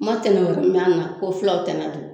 Ma tɛnɛn wɛrɛ mɛn a la ko fulaw tana don